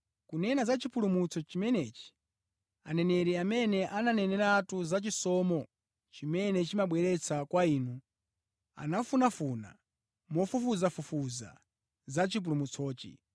Kunena za chipulumutso chimenechi, aneneri amene ananeneratu za chisomo chimene chimabwera kwa inu, anafunafuna mofufuzafufuza za chipulumutsochi,